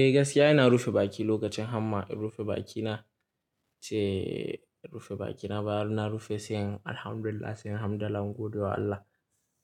Eh gaskiya ina rufe baki lokacin hamma. In rufe baki na ce rufe baki na bayan na rufe, sai in Alhamdulillah, sai in hamdala in gode wa Allah.